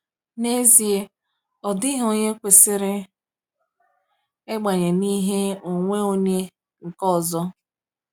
N'ezie, ọ dịghị onye kwesịrị ịbanye n’ihe onwe onye nke ọzọ.